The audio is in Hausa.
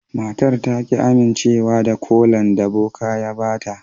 Matar ta ki amincewa da kolan da boka ya ba ta.